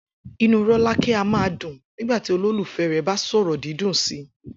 Inú Róláké a máa dùn nígbà tí olólùfé̩ rè̩ bá sò̩rò̩ dídùn si